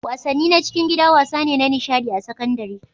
wasanni na cikin gida wasa ne na nishaɗi a sakandare